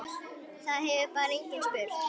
Það hefur bara enginn spurt